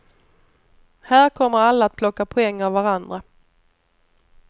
Här kommer alla att plocka poäng av varandra.